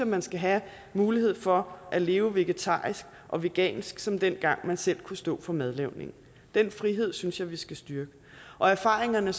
man skal have mulighed for at leve vegetarisk og vegansk som dengang man selv kunne stå for madlavningen den frihed synes jeg at vi skal styrke erfaringerne